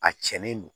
A cɛnnen don